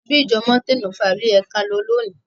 Ṣebí ìjọ Mountain of fire ni o yẹ kí á lọ lóni?